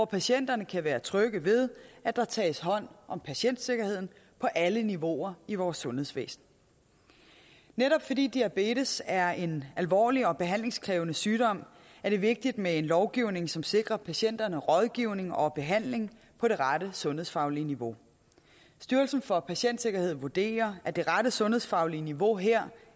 patienterne kan være trygge ved at der tages hånd om patientsikkerheden på alle niveauer i vores sundhedsvæsen netop fordi diabetes er en alvorlig og behandlingskrævende sygdom er det vigtigt med en lovgivning som sikrer patienterne rådgivning og behandling på det rette sundhedsfaglige niveau styrelsen for patientsikkerhed vurderer at det rette sundhedsfaglige niveau her